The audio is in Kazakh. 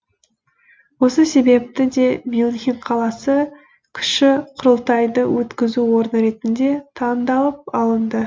осы себепті де мюнхен қаласы кіші құрылтайды өткізу орны ретінде таңдалып алынды